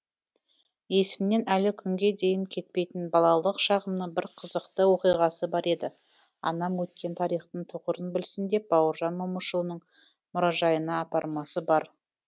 есімнен әлі күнге дейін кетпейтін балалық шағымның бір қызықты оқиғасы бар еді анам өткен тарихтың тұғырын білсін деп бауыржан момышұлының мұражайына апармасы бар ма